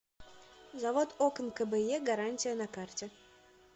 завод окон кбе гарантия на карте